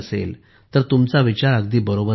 तर तुमचा विचार अगदी बरोबर आहे